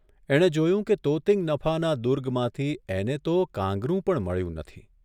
એણે જોયું કે તોતિંગ નફાના દુર્ગમાંથી એને તો કાંગરૂ પણ મળ્યું નથી.